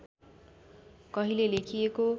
कहिले लेखिएको